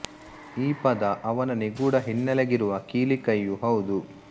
ಈ ಪದ ಅವನ ನಿಗೂಡ ಹಿನ್ನೆಲೆಗಿರುವ ಕೀಲಿ ಕೈಯೂ ಹೌದು